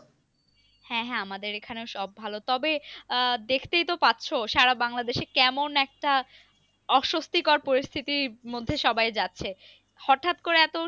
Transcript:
হ্যাঁ হ্যাঁ আমাদের এখানেও সব ভালো, তবে আহ দেখতেই তো পাচ্ছো সারা বাংলাদেশে কেমন একটা অস্বস্তিকর পরিস্থিতির মধ্যে সবাই যাচ্ছে, হঠাৎ করে এত